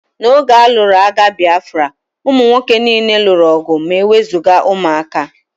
N'oge a lụrụ agha Bịafra, ụmụ nwoke niile lụrụ ọgụ ma e wezụga ụmụaka